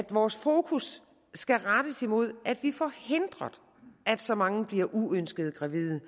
vores fokus skal rettes mod at vi får hindret at så mange bliver uønsket gravide